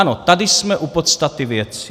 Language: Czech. Ano, tady jsme u podstaty věci.